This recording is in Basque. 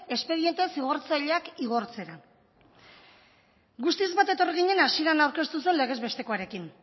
espediente zigortzaileak igortzera guztiz bat etorri ginen hasieran aurkeztu zen legez bestekoarekin